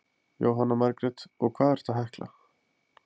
Jóhanna Margrét: Og hvað ertu að hekla?